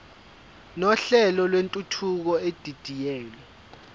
nohlelo lwentuthuko edidiyelwe